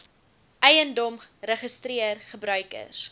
eiendom registreer gebruikers